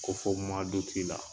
Ko fɔ muwa duti la